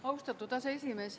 Austatud aseesimees!